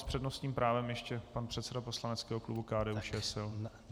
S přednostním právem ještě pan předseda poslaneckého klubu KDU-ČSL.